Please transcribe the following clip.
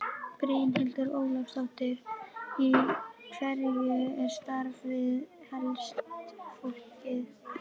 Brynhildur Ólafsdóttir: Í hverju er starfið helst fólgið?